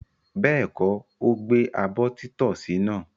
Bẹ́ẹ̀kọ́, ó gbẹ abọ́ títọ́sì náà.